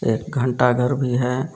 एक घंटा घर भी है।